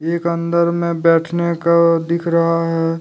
एक अंदर मे बैठने का दिख रहा है।